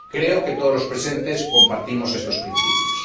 Creo que todos los presentes compartimos estos principios.